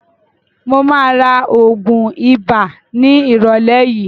Mo máa ra oògùn ibà ní ìrólé yìí.